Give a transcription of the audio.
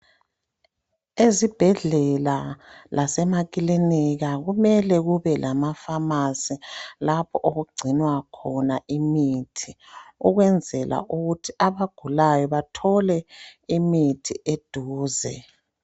Ezibhedlela lasemakilinika kumele kube lamafamasi labo okugcinwa khona imithi okwenzela ukuthi abagulayo bathole imithi eduze.